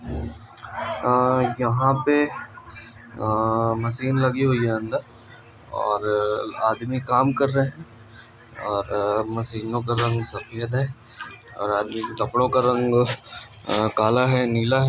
यहां पाये मशीन लगी हुई हैं अंदर और आदमी कम कर रहे हैं और मशीनों का रंग सफेद हैं और आदमी कल हेला हैं।